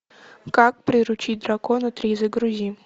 как приручить дракона три загрузи